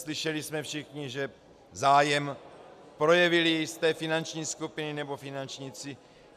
Slyšeli jsme všichni, že zájem projevily jisté finanční skupiny nebo finančníci.